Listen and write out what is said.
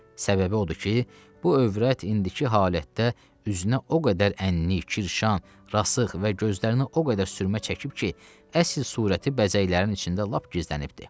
Səbəbi odur ki, bu övrət indiki halətdə üzünə o qədər ənnilik, kirşan, rasıx və gözlərinə o qədər sürmə çəkib ki, əsl surəti bəzəklərin içində lap gizlənibdir.